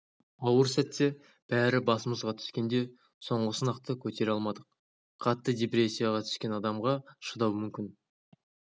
ауыр сәтте бәрі басымызға түскенде соңғы сынақты көтере алмадық қатты депрессияға түскен адамға шыдау мүмкін